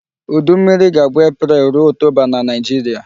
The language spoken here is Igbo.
Udu mmiri ga-abụ April rụo October na Nigeria.